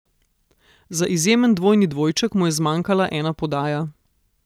Za izjemen dvojni dvojček mu je zmanjkala ena podaja.